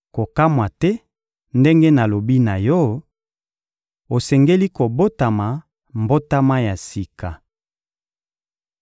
Kokamwa te ndenge nalobi na yo: «Osengeli kobotama mbotama ya sika!»